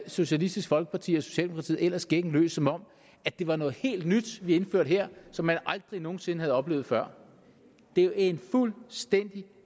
socialistisk folkeparti og socialdemokratiet ellers gækken løs som om det var noget helt nyt vi indførte her som man aldrig nogen sinde havde oplevet før det er en fuldstændig